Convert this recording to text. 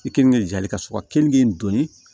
I kenige jali ka sɔrɔ keninke in donni